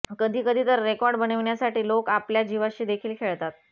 कधीकधी तर रेकॉर्ड बनविण्यासाठी लोक आपल्या जीवाशी देखील खेळतात